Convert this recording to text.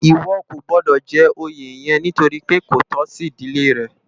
Iwò kó gbòdò jè óyé yèn nitóri pé kó tò si idilé rè